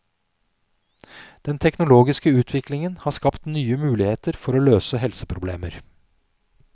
Den teknologiske utviklingen har skapt nye muligheter for å løse helseproblemer.